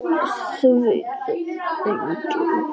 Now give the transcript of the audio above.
Það veit það enginn.